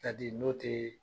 n'o te